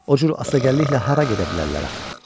O cür asta gənliklə hara gedə bilərlər axı?